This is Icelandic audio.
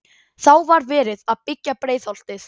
Þá var verið að byggja Breiðholtið.